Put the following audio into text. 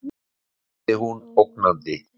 sagði hún ógnandi.